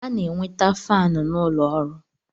A na-enweta faanụ n'ụlọ ọrụ.